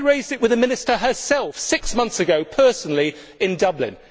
I raised it with the Minister herself six months ago, personally, in Dublin.